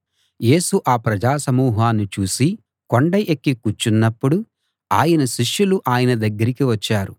యేసు ఆ ప్రజా సమూహాన్ని చూసి కొండ ఎక్కి కూర్చున్నప్పుడు ఆయన శిష్యులు ఆయన దగ్గరికి వచ్చారు